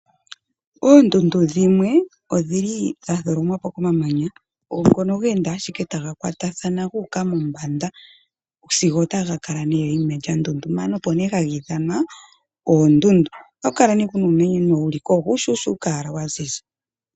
Oondudndu dhimwe odha tholomwa po ko mamanya, ngono ga enda ashike taga kwatathana ga uka mombanda, sigo taga kala nee enima enene lya ndundumana, opk nee haga ithanwa oondjndu. Oha ku kala kunaa uumeno uushushuka wala wa ziza.